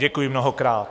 Děkuji mnohokrát.